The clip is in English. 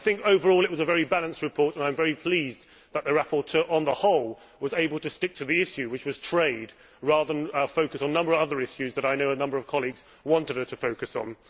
Overall, it was a very balanced report and I am very pleased that the rapporteur, on the whole, was able to stick to the issue which was trade rather than focus on a number of other issues that I know a number of colleagues wanted her to focus on.